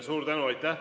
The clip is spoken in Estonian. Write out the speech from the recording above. Suur tänu!